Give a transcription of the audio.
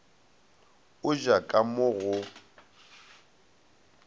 o ja ka mo go